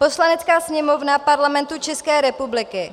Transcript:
Poslanecká sněmovna Parlamentu České republiky